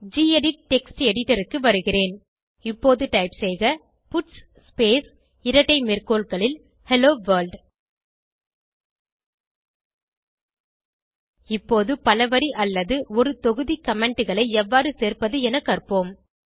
gedit text எடிட்டருக்கு வருகிறேன் இப்போது டைப் செய்க பட்ஸ் ஸ்பேஸ் இரட்டை மேற்கோள்களில் ஹெல்லோ வர்ல்ட் இப்போது பலவரி அல்லது ஒரு தொகுதி commentகளை எவ்வாறு சேர்ப்பது என கற்போம்